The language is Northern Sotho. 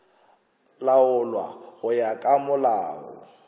laolwa go ya ka molao